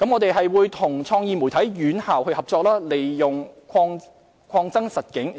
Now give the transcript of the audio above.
我們會與創意媒體院校合作，利用擴增實境